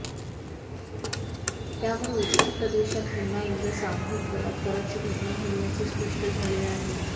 त्यामुळे उत्तर प्रदेशात पुन्हा एकदा सामूहिक बलात्काराची घटना घडल्याचे स्पष्ट झाले आहे